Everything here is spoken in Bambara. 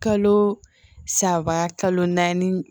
Kalo saba kalo naani